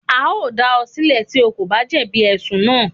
A o dá o silẹ̀ tí o kò bá jẹ̀bi ẹ̀sùn naa